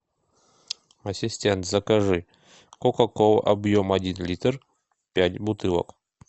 ассистент закажи кока колу объем один литр пять бутылок